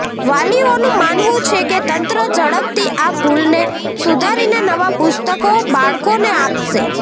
વાલીઓનું માનવું છે કે તંત્ર ઝડપથી આ ભૂલને સુધારીને નવા પુસ્તકો બાળકોને આપશે